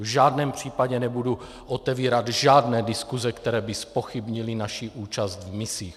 V žádném případě nebudu otevírat žádné diskuse, které by zpochybnily naši účast v misích.